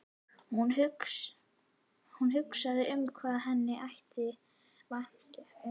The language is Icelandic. Hún hugsaði um hvað henni þætti vænt um hann.